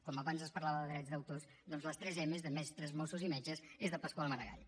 com abans es parlava de drets d’autors doncs les tres emes de mestres mossos i metges és de pasqual maragall